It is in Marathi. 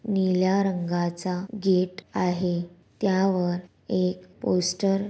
नीला रंगा च गेट आहे तया वर एक पोस्टर --